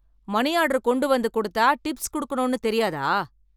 money order கொண்டு வந்து கொடுத்தா டிப்ஸ் கொடுக்கணும்னு தெரியாதா